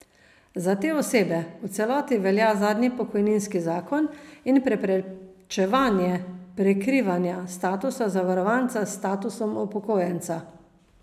Za te osebe v celoti velja zadnji pokojninski zakon in preprečevanje prekrivanja statusa zavarovanca s statusom upokojenca.